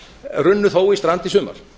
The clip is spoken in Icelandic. runnu þó í strand í sumar